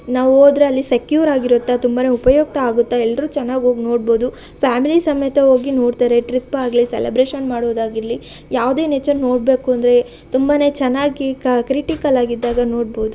ನಾವ ಹೋದರೆ ಅಲ್ಲಿ ಸೆಕ್ಯೂರ್ ಆಗಿರುತ್ತೆ ತುಂಬಾನೇ ಉಪಯುಕ್ತ ಆಗುತ್ತೆ ಎಲ್ಲರು ಚೆನ್ನಾಗಿ ಹೊಗಿ ನೊಡಬಹುದು ಫ್ಯಾಮಲಿ ಸಮೆತ ಹೊಗಿ ನೊಡ್ತಾರೆ ಟ್ರಿಪ ಆಗ್ಲಿ ಸೆಲೆಬ್ರೆಷನ್‌ ಮಾಡೊದಾರ್ಗಿಲಿ ಯಾವದೆ ನೆಚರ ನೊಡಬೆಕು ಅಂದ್ರೆ ತುಂಬಾನೆ ಚೆನ್ನಾಗಿ ಕ್ರಿಟಿಕಲಾ ಗಿದ್ದಾಗ ನೊಡಬಹುದು .